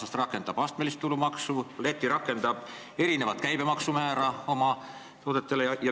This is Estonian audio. Läti rakendab sellest aastast astmelist tulumaksu ja erinevat käibemaksumäära oma teatud toodetele.